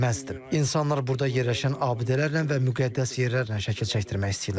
İnsanlar burda yerləşən abidələrlə və müqəddəs yerlərlə şəkil çəkdirmək istəyirlər.